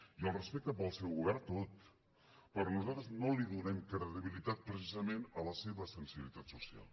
i el respecte per al seu govern tot però nosaltres no donem credibilitat precisament a la seva sensibilitat social